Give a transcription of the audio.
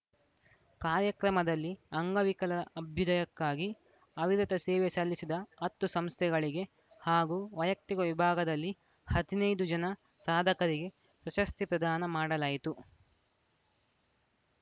ಕಾರ್ಯಕ್ರಮದಲ್ಲಿ ಅಂಗವಿಕಲರ ಅಭ್ಯುದಯಕ್ಕಾಗಿ ಅವಿರತ ಸೇವೆ ಸಲ್ಲಿಸಿದ ಹತ್ತು ಸಂಸ್ಥೆಗಳಿಗೆ ಹಾಗೂ ವೈಯಕ್ತಿಕ ವಿಭಾಗದಲ್ಲಿ ಹದಿನೈದು ಜನ ಸಾಧಕರಿಗೆ ಪ್ರಶಸ್ತಿ ಪ್ರದಾನ ಮಾಡಲಾಯಿತು